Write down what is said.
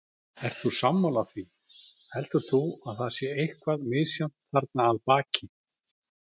Ert þú sammála því, heldur þú að það sé eitthvað misjafnt þarna að baki?